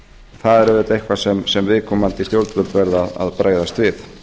það er auðvitað eitthvað sem viðkomandi stjórnvöld verða að bregðast við